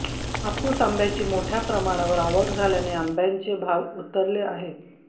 हापूस आंब्याची प्रमाणावर मोठ्या प्रमाणावर आवक झाल्याने आंब्याचे भाव उतरले आहेत